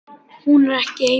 Hún er ekki heima.